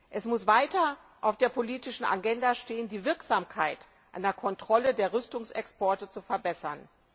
Es muss weiter auf der politischen Agenda stehen, die Wirksamkeit einer Kontrolle der Rüstungsexporte zu verbessern.